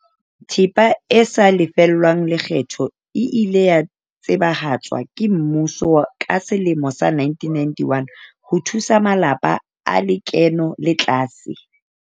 Thepa e sa lefellweng lekgetho e ile ya tsebahatswa ke mmuso ka selemo sa 1991 ho thusa malapa a lekeno le tlase.